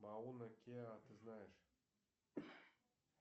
мауна кеа ты знаешь